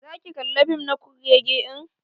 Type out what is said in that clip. Za ki kalla fim na kurrege din?